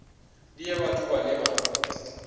ndi ya vhathu vhane vha